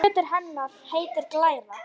Sá hluti hennar heitir glæra.